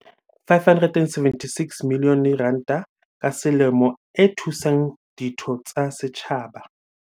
"R576 milione ka selemo e thusang ditho tsa setjhaba."